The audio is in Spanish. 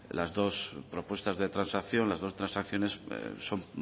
las dos propuestas de transacción las dos transacciones son